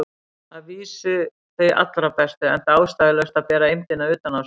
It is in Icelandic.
Að vísu þau allra bestu, enda ástæðulaust að bera eymdina utan á sér.